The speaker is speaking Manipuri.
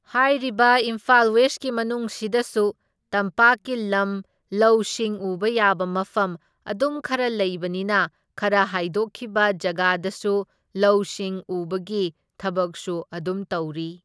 ꯍꯥꯏꯔꯤꯕ ꯏꯝꯐꯥꯜ ꯋꯦꯁꯀꯤ ꯃꯅꯨꯡꯁꯤꯗꯁꯨ ꯇꯝꯄꯥꯛꯀꯤ ꯂꯝ ꯂꯧ ꯁꯤꯡ ꯎꯕ ꯌꯥꯕ ꯃꯐꯝ ꯑꯗꯨꯝ ꯈꯔ ꯂꯩꯕꯅꯤꯅ ꯈꯔ ꯍꯥꯏꯗꯣꯛꯈꯤꯕ ꯖꯒꯥꯗꯁꯨ ꯂꯧ ꯁꯤꯡ ꯎꯕꯒꯤ ꯊꯕꯛꯁꯨ ꯑꯗꯨꯝ ꯇꯧꯔꯤ꯫